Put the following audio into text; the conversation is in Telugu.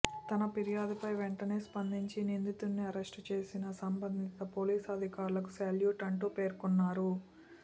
తమ ఫిర్యాదుపై వెంటనే స్పందించి నిందితుడిని అరెస్టు చేసిన సంబంధిత పోలీసు అధికారులకు శాల్యూట్ అంటూ పేర్కొన్నారు